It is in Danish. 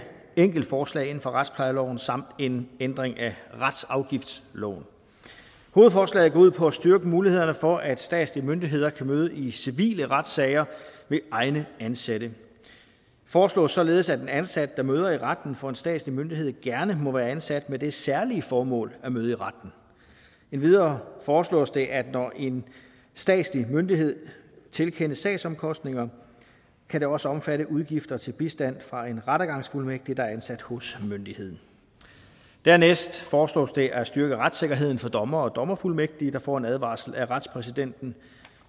enkeltforslag inden for retsplejeloven samt en ændring af retsafgiftsloven hovedforslaget går ud på at styrke mulighederne for at statslige myndigheder kan møde i civile retssager ved egne ansatte det foreslås således at en ansat der møder i retten for en statslig myndighed gerne må være ansat med det særlige formål at møde i retten endvidere foreslås det at når en statslig myndighed tilkendes sagsomkostninger kan det også omfatte udgifter til bistand fra en rettergangsfuldmægtig der er ansat hos myndigheden dernæst foreslås det at styrke retssikkerheden for dommere og dommerfuldmægtige der får en advarsel af retspræsidenten